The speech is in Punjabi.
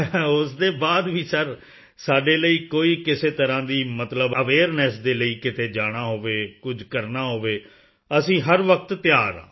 ਉਸ ਦੇ ਬਾਅਦ ਵੀ ਸਰ ਸਾਡੇ ਲਈ ਕੋਈ ਕਿਸੇ ਤਰ੍ਹਾਂ ਦੀ ਮਤਲਬ ਅਵੇਅਰਨੈੱਸ ਦੇ ਲਈ ਕਿਤੇ ਜਾਣਾ ਹੋਵੇ ਕੁਝ ਕਰਨਾ ਹੋਵੇ ਅਸੀਂ ਹਰ ਵਕਤ ਤਿਆਰ ਹਾਂ